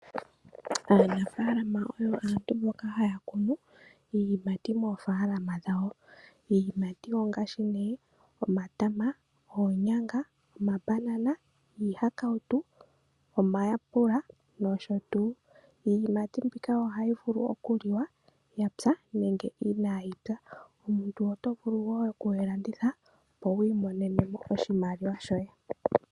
Aanafaalama oyo aantu mboka haya kunu iiyimati niikwamboga moofaalama dhawo. Iiyimati niikwamboga ongaashi omatama, oonyanga, omabanana, iihakautu, omayapula nosho tuu. Iiyimati niikwamboga mbika ohayi vulu okuliwa ya pya nenge inayi pya. Omuntu oto vulu wo oku yi landitha, opo wi imonene mo oshimaliwa shoye.